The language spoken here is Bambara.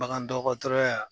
Bagan dɔgɔtɔrɔya